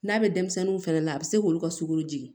N'a bɛ denmisɛnninw fɛnɛ la a bɛ se k'olu ka sukaro jigin